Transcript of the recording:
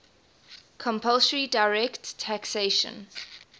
compulsory direct taxation